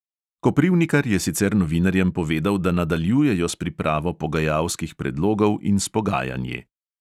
Koprivnikar je sicer novinarjem povedal, da nadaljujejo s pripravo pogajalskih predlogov in s pogajanji.